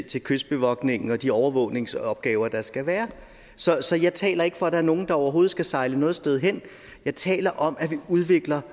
til kystbevogtning og de overvågningsopgaver der skal være så så jeg taler ikke for at der er nogen der overhovedet skal sejle noget sted hen jeg taler om at vi udvikler